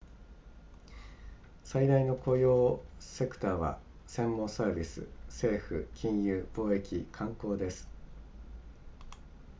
最大の雇用セクターは専門サービス政府金融貿易観光です